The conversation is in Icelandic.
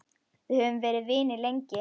Við höfum verið vinir lengi.